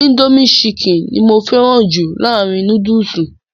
Indomie chicken ni mo fẹ́ràn jù láàárín núdùsù.